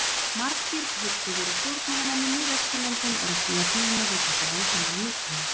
Margir hugsuðir og stjórnmálamenn í Mið-Austurlöndum eru því að glíma við þessi vandamál nútímans.